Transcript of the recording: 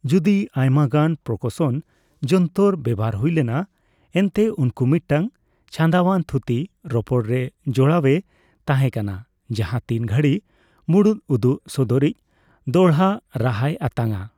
ᱡᱩᱫᱤ ᱟᱭᱢᱟᱜᱟᱱ ᱯᱟᱨᱠᱟᱥᱚᱱ ᱡᱚᱱᱛᱚᱨ ᱵᱮᱵᱷᱟᱨ ᱦᱩᱭ ᱞᱮᱱᱟ ᱮᱱᱛᱮ ᱩᱱᱠᱩ ᱢᱤᱫᱴᱟᱝ ᱪᱷᱟᱸᱫᱟᱣᱟᱱ ᱛᱷᱩᱛᱤ ᱨᱚᱯᱚᱲᱨᱮ ᱡᱚᱲᱟᱣᱮ ᱛᱟᱦᱮᱸ ᱠᱟᱱᱟ ᱡᱟᱦᱟ ᱛᱤᱱ ᱜᱷᱟᱹᱲᱤ ᱢᱩᱲᱩᱫ ᱩᱫᱩᱜ ᱥᱚᱫᱚᱨᱤᱡᱽ ᱫᱚᱲᱦᱟ ᱨᱟᱦᱟᱭ ᱟᱛᱟᱝᱼᱟ ᱾